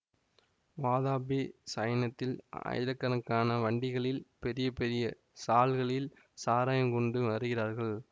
வாதாபி சையனத்தில் ஆயிரக்கணக்கான வண்டிகளில் பெரிய பெரிய சால்களில் சாராயம் கொண்டு வருகிறார்கள்